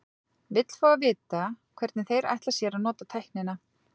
Vill fá að vita, hvernig þeir ætla sér að nota tæknina.